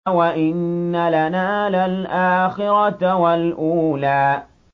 وَإِنَّ لَنَا لَلْآخِرَةَ وَالْأُولَىٰ